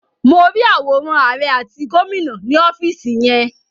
Mo rí àwòrán àrẹ àti gómìnà ni ọ́fìsì yẹn.